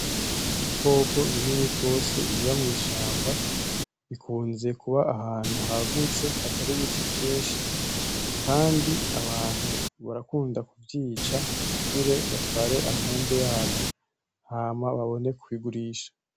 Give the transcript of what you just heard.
Ibikoko binini gose biba mw'ishamba, bikunze kuba ahantu hagutse hatari ibiti vyinshi, kandi abantu barakunda kuvyica kugira batware amahembe yavyo hama babone kuyigurisha.